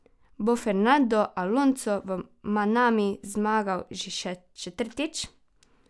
Bo Fernando Alonso v Manami zmagal še četrtič?